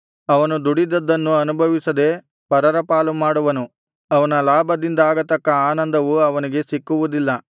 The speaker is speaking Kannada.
ಅವನು ದುಡಿದದ್ದನ್ನು ಅನುಭವಿಸದೆ ಪರರ ಪಾಲು ಮಾಡುವನು ಅವನ ಲಾಭದಿಂದಾಗತಕ್ಕ ಆನಂದವು ಅವನಿಗೆ ಸಿಕ್ಕುವುದಿಲ್ಲ